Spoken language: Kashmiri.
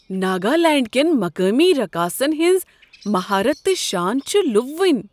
ناگالینڈس کین مقامی رقاصن ہنٛز مہارت تہٕ شان چھ لُوبونۍ۔